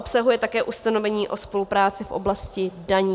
Obsahuje také ustanovení o spolupráci v oblasti daní.